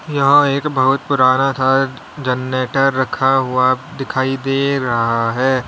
यहां एक बहुत पुराना था जनरेटर रखा हुआ दिखाई दे रहा है।